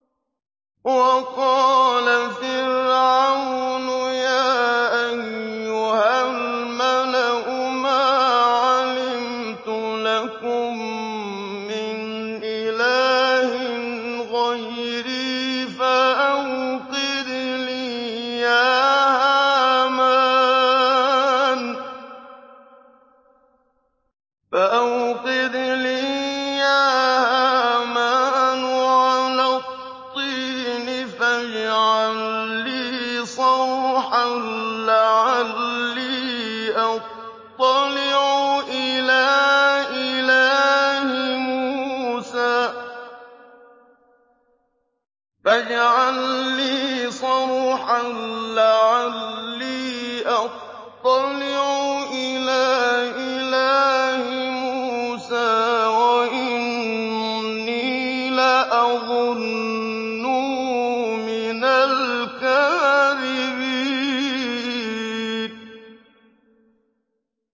وَقَالَ فِرْعَوْنُ يَا أَيُّهَا الْمَلَأُ مَا عَلِمْتُ لَكُم مِّنْ إِلَٰهٍ غَيْرِي فَأَوْقِدْ لِي يَا هَامَانُ عَلَى الطِّينِ فَاجْعَل لِّي صَرْحًا لَّعَلِّي أَطَّلِعُ إِلَىٰ إِلَٰهِ مُوسَىٰ وَإِنِّي لَأَظُنُّهُ مِنَ الْكَاذِبِينَ